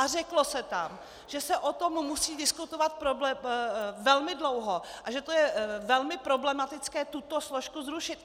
A řeklo se tam, že se o tom musí diskutovat velmi dlouho a že to je velmi problematické tuto složku zrušit.